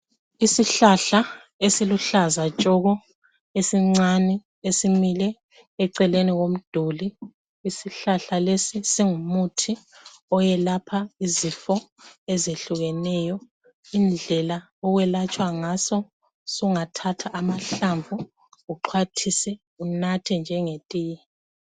Isihlahla esiluhlaza tshoko esincane esimile eceleni komduli. Isihlahla lesi singumuthi oyelapha izifo ezehlukeneyo, indlela esilatshwa ngaso sungathatha amahlamvu uxhwathise unathe njengetiye.